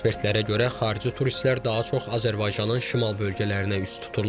Ekspertlərə görə, xarici turistlər daha çox Azərbaycanın şimal bölgələrinə üz tuturlar.